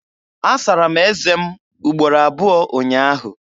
Asara m ézé m ugboro abụọ ụnyaahụ.